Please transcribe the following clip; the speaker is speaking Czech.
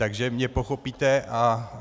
Takže mě pochopíte.